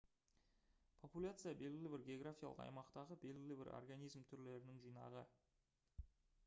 популяция белгілі бір географиялық аймақтағы белгілі бір организм түрлерінің жинағы